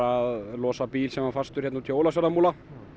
að losa bíl sem var fastur hérna úti í Ólafsfjarðarmúla